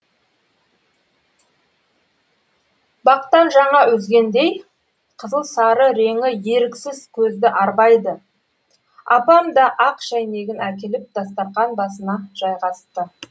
бақтан жаңа үзгендей қызыл сары реңі еріксіз көзді арбайды апам да ақ шәйнегін әкеліп дастархан басына жайғасты